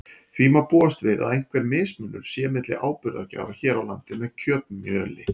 Því má búast við að einhver mismunur sé milli áburðargjafar hér á landi með kjötmjöli.